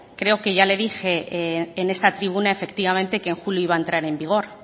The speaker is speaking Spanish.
creo que ya le he dije en esta tribuna efectivamente que en julio iba a entrar en vigor